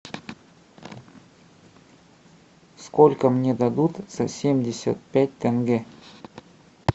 сколько мне дадут за семьдесят пять тенге